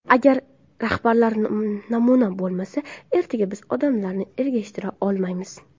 Agar rahbarlar namuna bo‘lmasa, ertaga biz odamlarni ergashtira olmaymiz.